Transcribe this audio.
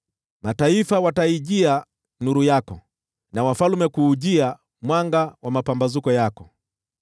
Mataifa watakuja kwenye nuru yako na wafalme kwa mwanga wa mapambazuko yako.